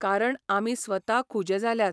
कारण आमी स्वता खुजे जाल्यात.